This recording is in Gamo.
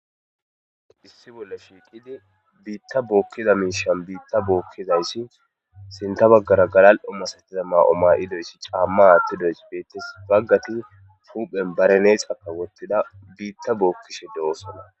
issi bolla shiiqidi biitta bookkiza miishan biitta bookkizayssi sinta baggara galal7o masatiza maa7o ma7idoyssi caamma aattidoys beettes baggati puhphen bareneexaka wottida biitta bookkishe de7osona